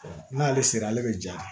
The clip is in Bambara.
n'ale sera ale bɛ ja